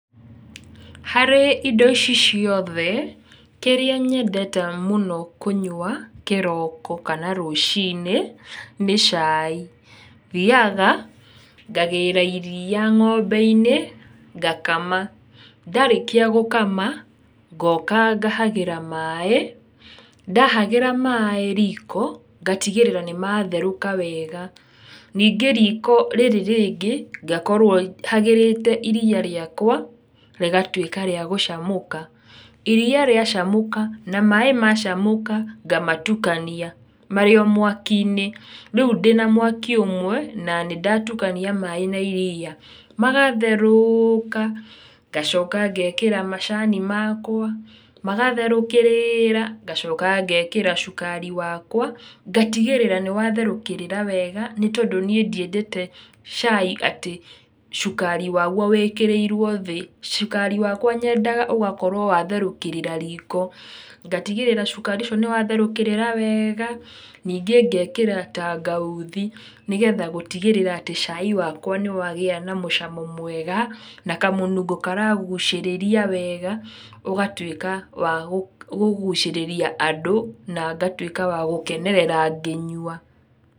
Harĩ indo ici ciothe, kĩrĩa nyendete mũno kũnyua kĩroko, kana rũciinĩ, nĩ cai. Thiaga, ngagĩra iria ng'ombe-inĩ, ngakama. Ndarĩkĩa gũkama, ngoka ngahagĩra maaĩ, ndahagĩra maaĩ riko, ndatigĩrĩra nĩmatherũka wega. Ningĩ riko rĩrĩ rĩngĩ ngakorwo hagĩrĩte iria rĩakwa, rĩgatuĩka rĩa gũcamũka. Iria riacamũka, na maaĩ macamũka ngamatukania marĩ o mwaki-inĩ. Rĩu ndĩna mwaki ũmwe, na nĩ ndatukania maaĩ na iria, magatherũũka, ngacoka ngekĩra macani makwa, magatherũkĩrĩra, ngacoka ngekĩra cukari wakwa ngatigĩrĩra nĩwatherũkĩrĩra wega, tondũ ndiendete cai atĩ cukari wagwo wĩkĩrĩirwo thĩ, cukari wakwa nyendaga ũgakorwo watherũkĩrĩra riko, ndatigĩrĩra cukari ũcio nĩ watherũkĩrĩra wega, ningĩ ngekĩra tangauthi nĩgetha gũtigĩrĩra atĩ cai wakwa nĩwagĩa na mũcamo mwega, na kamũnungo karagucirĩria wega, ũgatuĩka wa kũgucĩrĩria andũ, na ngatuĩka wa gũkenerera ngĩnyua.